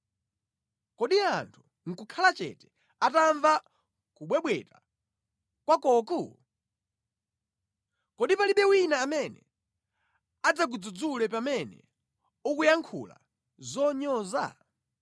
Kodi anthu nʼkukhala chete atamva kubwebweta kwakoku? Kodi palibe wina amene adzakudzudzule pamene ukuyankhula zonyoza?